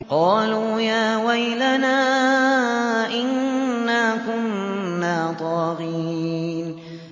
قَالُوا يَا وَيْلَنَا إِنَّا كُنَّا طَاغِينَ